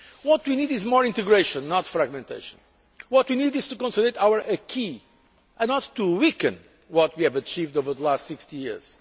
What we need is more integration, not fragmentation. What we need is to consolidate our acquis and not to weaken what we have achieved over the last 60 years.